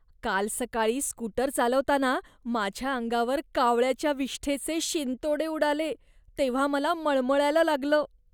काल सकाळी स्कूटर चालवताना माझ्या अंगावर कावळ्याच्या विष्ठेचे शिंतोडे उडाले तेव्हा मला मळमळायला लागलं.